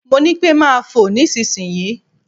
Mo ní pẹ́ máa fò nísinsìnyí.